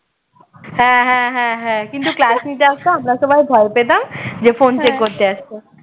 হ্যাঁ হ্যাঁ হ্যাঁ হ্যাঁ কিন্তু class নিতে আসতো আমরা সবাই ভয় পেতাম যে phone check করতে আসছে